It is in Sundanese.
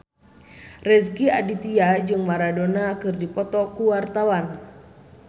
Rezky Aditya jeung Maradona keur dipoto ku wartawan